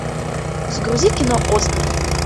загрузи кино оскар